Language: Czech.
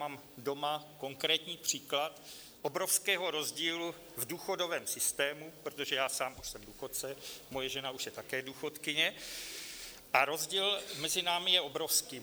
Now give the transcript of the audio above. Mám doma konkrétní příklad obrovského rozdílu v důchodovém systému, protože já sám už jsem důchodce, moje žena už je také důchodkyně a rozdíl mezi námi je obrovský.